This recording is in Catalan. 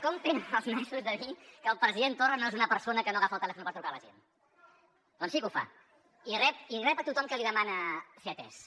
com tenen els nassos de dir que el president torra no és una persona que no agafa el telèfon per trucar a la gent doncs sí que ho fa i rep a tothom que li demana ser atès eh